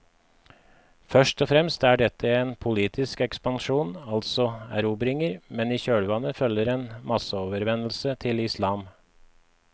Først og fremst er dette en politisk ekspansjon, altså erobringer, men i kjølvannet følger en masseomvendelse til islam.